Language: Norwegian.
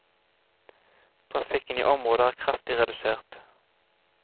Trafikken i området er kraftig redusert.